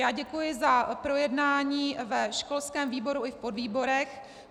Já děkuji za projednání ve školském výboru i v podvýborech.